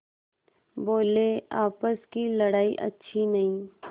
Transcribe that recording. बोलेआपस की लड़ाई अच्छी नहीं